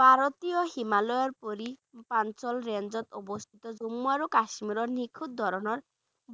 ভাৰতীয় হিমালয়ৰ range ত অৱস্থিত জম্মু আৰু কাশ্মীৰৰ নিখুঁট ধৰণৰ